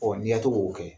Ɔ n'i ya to k'o kɛ